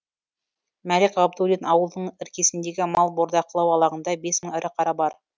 мәлік ғабдуллин ауылының іргесіндегі мал бордақылау алаңында бес мың ірі қара бар